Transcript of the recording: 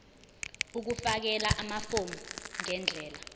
ukufakela amafomu ngendlela